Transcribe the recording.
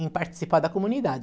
Em participar da comunidade.